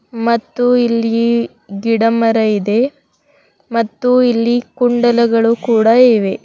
ಮತ್ತು ಇಲ್ಲಿ ಗಿಡಮರ ಇದೆ ಮತ್ತು ಇಲ್ಲಿ ಕುಂಡಲಗಳು ಕೂಡ ಇವೆ.